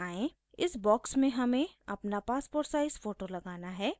इस बॉक्स में हमें अपना पासपोर्ट साइज़ फोटो लगाना है